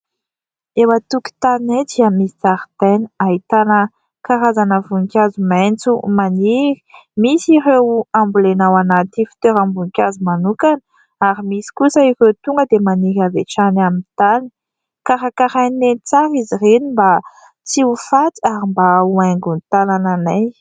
Eo an-tokotaninay dia misy zaridaina ahitana karazana voninkazo maitso maniry, misy ireo ambolena ao anaty fitoeram-boninkazo manokana ary misy kosa ireo tonga dia maniry avy hatrany amin'ny tany, karakarainay tsara izy ireny mba tsy ho faty ary mba ho haingo ny tanànanay.